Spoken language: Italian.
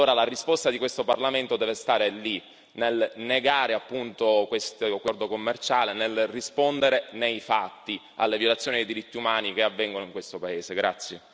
Allora la risposta di questo Parlamento deve stare lì, nel negare appunto questo accordo commerciale, nel rispondere nei fatti alle violazioni dei diritti umani che avvengono in questo paese.